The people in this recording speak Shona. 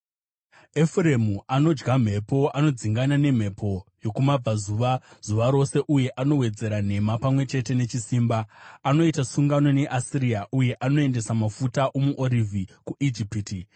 Efuremu anodya mhepo; anodzingana nemhepo yokumabvazuva zuva rose uye anowedzera nhema pamwe chete nechisimba. Anoita sungano neAsiria, uye anoendesa mafuta omuorivhi kuIjipiti.